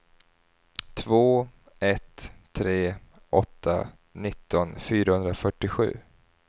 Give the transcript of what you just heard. två ett tre åtta nitton fyrahundrafyrtiosju